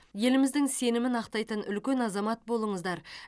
еліміздің сенімін ақтайтын үлкен азамат болыңыздар